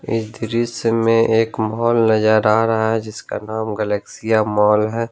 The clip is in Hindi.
इस दृश्य में एक माल नजर आ रहा है जिसका नाम गैलेक्सीया माल है।